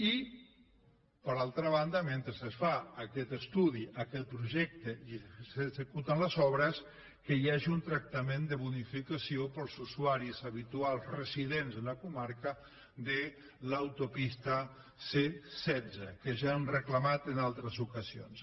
i per altra banda mentre es fa aquest estudi aquest projecte i s’executen les obres que hi hagi un tractament de bonificació per als usuaris habituals residents a la comarca de l’autopista c setze que ja hem reclamat en altres ocasions